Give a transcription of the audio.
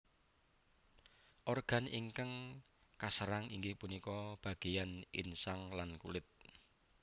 Organ ingkang kaserang inggih punika bagéyan insang lan kulit